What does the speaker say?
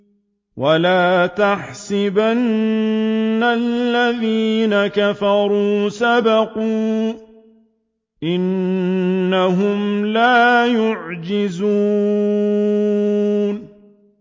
وَلَا يَحْسَبَنَّ الَّذِينَ كَفَرُوا سَبَقُوا ۚ إِنَّهُمْ لَا يُعْجِزُونَ